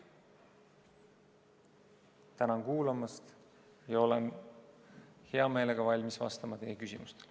Tänan kuulamast ja olen hea meelega valmis vastama teie küsimustele.